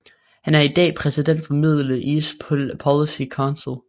Han er i dag præsident for Middle East Policy Council